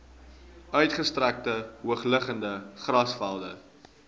uitgestrekte hoogliggende grasvelde